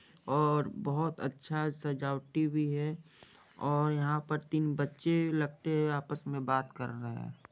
और बहुत अच्छा सजावटी भी है और यहां पर तीन बच्चे लगते हैं आपस में बात कर रहे है।